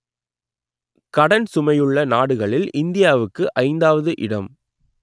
கடன் சுமையுள்ள நாடுகளில் இந்தியாவுக்கு ஐந்தாவது இடம்